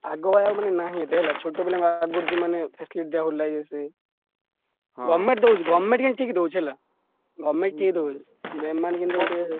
ଆଗ ଆଡୁ ନାହିଁ ହେଲା ଛୋଟପିଲାଙ୍କୁ ଆଗରୁ ଯୋଉ ମାନେ facility ଦିଆହାଉଥିଲା ଏ ସିଏ। government ଦଉଛି government କିନ୍ତୁ ଠିକ୍ ଦଉଛି ହେଲା। government ଠିକ୍ ଦଉଛି କିନ୍ତୁ ଏମାନେ ଟିକେ ୟେ।